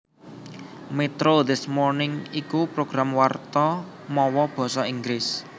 Metro This Morning iku program warta mawa basa Inggris